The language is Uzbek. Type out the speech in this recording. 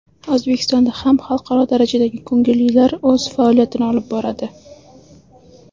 O‘zbekistonda ham xalqaro darajadagi ko‘ngillilar o‘z faoliyatini olib boradi.